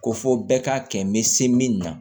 Ko fɔ bɛɛ k'a kɛ n bɛ se min na